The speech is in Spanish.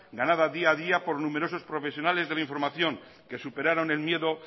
ganada día a día por numerosos profesionales de la información que superaron el miedo